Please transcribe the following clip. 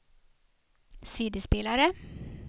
CD-spelare